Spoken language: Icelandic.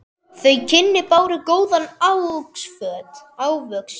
Þau kynni báru góðan ávöxt.